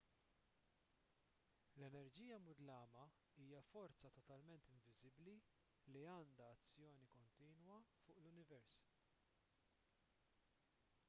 l-enerġija mudlama hija forza totalment inviżibbli li għandha azzjoni kontinwa fuq l-univers